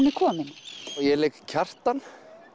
er komin ég leik Kjartan